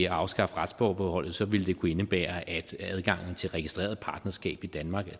at afskaffe retsforbeholdet så ville det kunne indebære at adgangen til registreret partnerskab i danmark